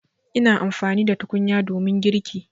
Ina amfani da tukunya domin girki.